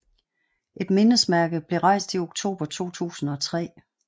Et mindesmærke blev rejst i oktober 2003